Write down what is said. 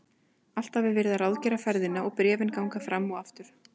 Alltaf er verið að ráðgera ferðina og bréfin ganga fram og aftur.